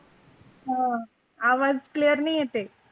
अह हां आवाज़ clear नाही येतय.